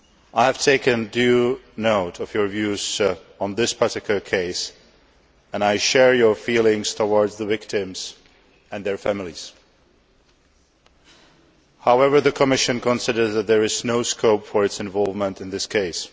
I have taken due note of your views on this particular case, and I share your feelings towards the victims and their families. However, the Commission considers that there is no scope for its involvement in this case.